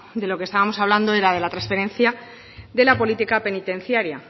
de lo que estábamos hablando era de la transferencia de la política penitenciaria